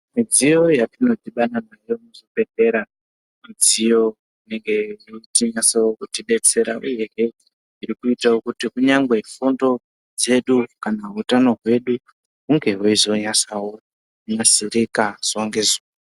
Midziyo yatinodhibana nayo muzvibhedhlera midziyo inenge ichinyatsokuti betsereka uyehe irikuitawo kuti kunyangwe fundo dzedu kana utano hwedu hunge hweizonyatsa kunasirika zuva ngezuva.